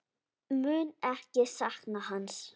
Mun ekki sakna hans.